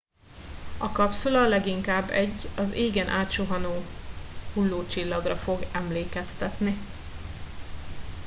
a kapszula leginkább egy az égen átsuhanó hullócsillagra fog emlékeztetni